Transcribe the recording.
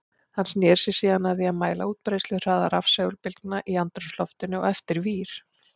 Hann sneri sér síðan að því að mæla útbreiðsluhraða rafsegulbylgna í andrúmsloftinu og eftir vír.